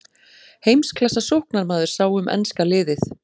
Heimsklassa sóknarmaður sá um enska liðið.